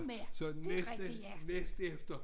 Så næste næst efter